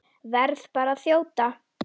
Verð bara að þjóta!